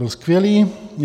Byl skvělý.